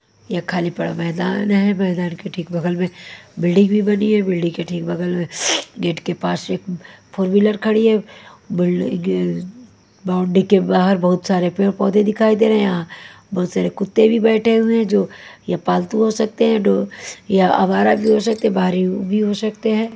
यह खाली पड़ा मैदान है मैदान के ठीक बगल में बिल्डिंग भी बनी है बिल्डिंग के ठीक बगल में गेट के पास एक फोर -व्हीलर खड़ी है बिल्डिंग -बाउंड्री के बाहर बहुत सारे पेड़-पौधे दिखाई दे रहे हैं यहाँ बहुत सारे कुत्ते भी बैठे हुए हैं जो यह पालतू हो सकते हैं या आवारा भी हो सकते हैं बाहरी भी हो सकते हैं।